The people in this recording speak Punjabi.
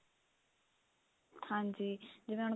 ਹਾਂਜੀ ਜਿਵੇਂ ਹੁਣ